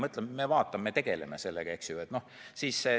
Mõtleme, vaatame, me tegeleme sellega, eks ju.